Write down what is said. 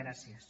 gràcies